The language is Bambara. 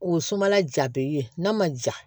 O ye sumala ja be ye n'a ma ja